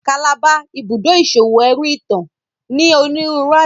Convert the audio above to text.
Calabar, Ibùdó iṣowo ẹru itan, ní onírúurú aṣa